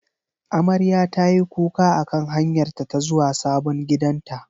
Amarya tayi kuka akan hanyarta ta zuwa sabon gidanta.